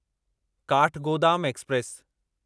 Kathgodam express